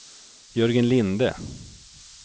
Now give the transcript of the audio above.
Jörgen Linde